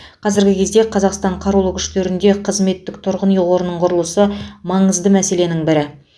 қазіргі кезде қазақстан қарулы күштерінде қызметтік тұрғын үй қорының құрылысы маңызды мәселенің бірі